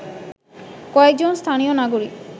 কয়েকজন স্থানীয় নাগরিক